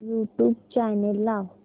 YouTube channel लाव